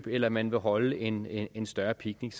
eller man vil holde en en større picnic